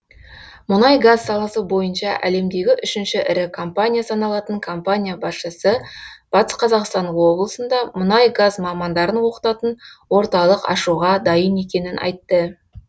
мұнай газ саласы бойынша әлемдегі үшінші ірі компания саналатын компания басшысы батыс қазақстан облысында мұнай газ мамандарын оқытатын орталық ашуға дайын екенін айтты